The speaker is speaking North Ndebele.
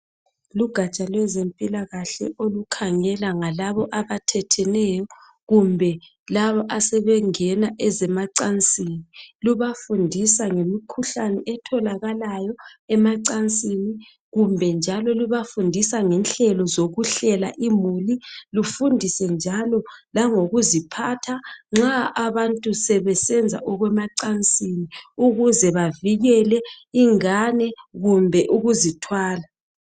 Lugaja lwezempilakahle olukhangela ngalabo abathetheneyo kumbe labo asebengena ezemacansini. Lubafundisa ngemikhuhlane etholakalayo emacansini. Kumbe njalo, lubafundisa ngenhlelo zokuhlela imuli. Lufundise njalo langokuziphatha nxa abantu sebesenza ezemacansini, ukuze bavikele ingane kumbe ukuzithwala.